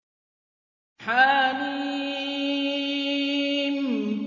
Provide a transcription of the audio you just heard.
حم